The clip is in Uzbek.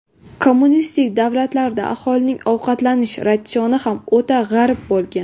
Kommunistik davlatlarda aholining ovqatlanish ratsioni ham o‘ta g‘arib bo‘lgan.